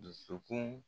Dusukun